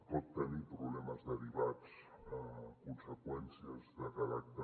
pot tenir problemes derivats conseqüències de caràcter